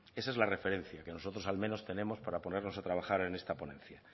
esa es la referencia que nosotros al menos tenemos para ponernos a trabajar en esta ponencia